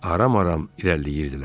Aram-aram irəliləyirdilər.